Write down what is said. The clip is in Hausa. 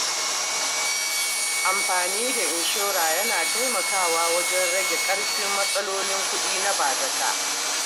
Amfani da inshora yana taimakawa wajen rage ƙarfin matsalolin kuɗi na bazata.